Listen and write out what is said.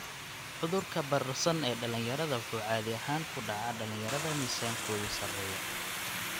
Cudurka bararsan ee dhalinyarada wuxuu caadi ahaan ku dhaca dhalinyarada miisaankoodu sarreeyo.